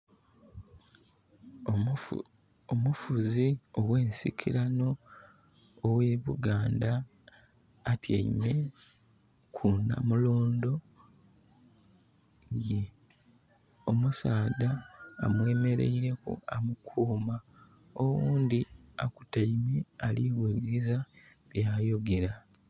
Omufuzi oghe nsikirano oghe Buganda atyaime ku namulondo ye. Omusaadha amwemeleireku amukuuma. Owundi akutaime ali wulirisa bya yogera